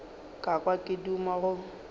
ka kwa ke duma go